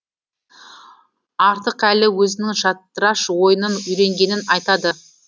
артықәлі өзінің шатыраш ойынын үйренгенін айтады